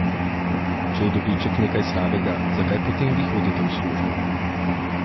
Če je dobiček nekaj slabega, zakaj potem vi hodite v službo?